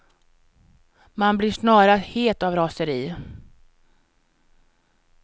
Man blir snarast het av raseri.